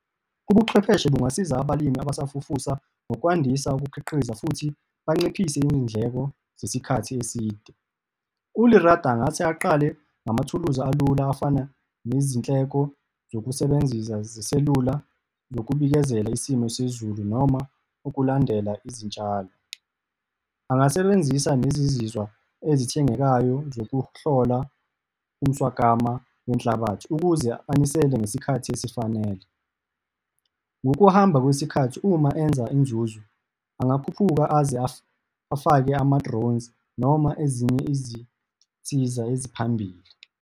Ubuchwepheshe bungasiza abalimi abasafufusa ngokwandisa ukukhiqiza futhi banciphise izindleko zesikhathi eside. ULerato angase aqale ngamathuluzi alula, afana nezinhleko zokusebenzisa zeselula zokubikezela isimo sezulu noma ukulandela izitshalo. Angasebenzisa nezizizwa ezithengekayo zokuhlola umswakama wenhlabathi, ukuze anisele ngesikhathi esifanele. Ngokuhamba kwesikhathi uma enza inzuzo angakhuphuka aze afake ama-drones noma ezinye izinsiza eziphambili.